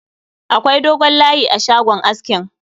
Akwai dogon layi a shagon askin